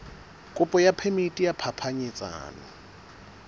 kopo ya phemiti ya phapanyetsano